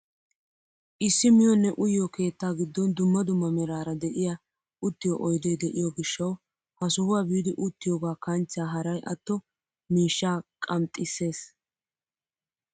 Issi miyoonne uyiyoo keettaa giddon dumma dumma meraara de'iyaa uttiyoo oydeti de'iyoo gishshawu ha sohuwaa biidi uttiyoogaa kanchcha haray atto miishshaa qamxisses!